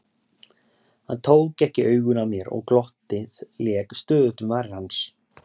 Hann tók ekki augun af mér og glottið lék stöðugt um varir hans.